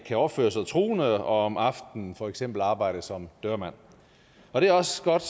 kan opføre sig truende og om aftenen for eksempel arbejde som dørmand og det er også godt